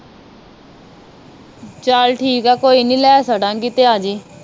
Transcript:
ਚੱਲ ਠੀਕ ਆ ਕੋਈ ਨੀ ਲੈ ਛਡਾਗੀ ਤੇ ਅਜੀ